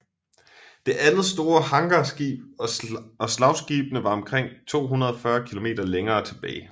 Det andet store hangarskib og slagskibene var omkring 240 km længere tilbage